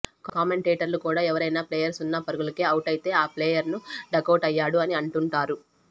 కామెంటేటర్లు కూడా ఎవరైనా ప్లేయర్ సున్నా పరుగులకే ఔటైతే ఆ ప్లేయర్ను డకౌట్ అయ్యాడు అని అంటుంటారు